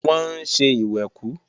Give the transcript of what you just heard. Wọ́n ń ṣe ìwẹ̀kú